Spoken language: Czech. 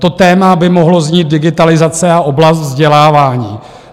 To téma by mohlo znít - digitalizace a oblast vzdělávání.